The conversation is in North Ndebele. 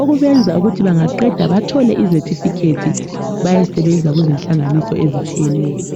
okubenza ukuthi bangaqeda bathole izethifikhethi bayesebenza kuzinhlanganiso ezitshiyeneyo.